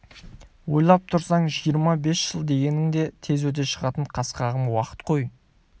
ойлап тұрсаң жиырма бес жыл дегенің де тез өте шығатын қас-қағым уақыт қой